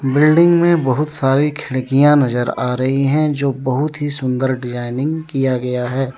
Building में बहुत सारी खिड़कियां नजर आ रही हैं जो बहुत ही सुंदर डिजाइनिंग किया गया है।